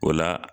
O la